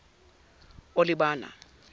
olibana